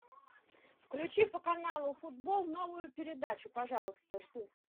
включи по каналу футбол новую передачу пожалуйста жду